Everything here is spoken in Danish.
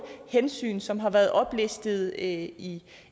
hensyn som har været oplistet i i